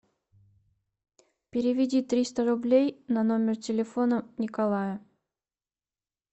переведи триста рублей на номер телефона николая